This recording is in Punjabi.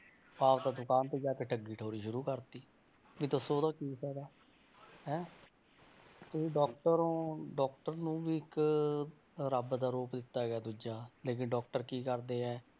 ਵਾਪਸ ਦੁਕਾਨ ਤੇ ਜਾ ਕੇ ਠੱਗੀ ਠੋਰੀ ਸ਼ੁਰੂ ਕਰ ਦਿੱਤੀ, ਵੀ ਦੱਸੋ ਉਹਦਾ ਕੀ ਫ਼ਾਇਦਾ ਹੈਂ ਤੁਸੀਂ doctor ਹੋ doctor ਨੂੰ ਵੀ ਇੱਕ ਰੱਬ ਦਾ ਰੂਪ ਦਿੱਤਾ ਗਿਆ ਦੂਜਾ, ਲੇਕਿੰਨ doctor ਕੀ ਕਰਦੇ ਹੈ,